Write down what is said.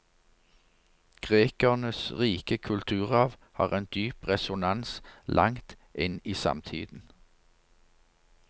Grekernes rike kulturarv har en dyp resonans langt inn i samtiden.